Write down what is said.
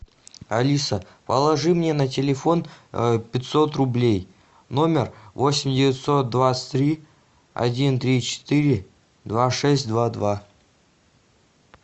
алиса положи мне на телефон пятьсот рублей номер восемь девятьсот двадцать три один три четыре два шесть два два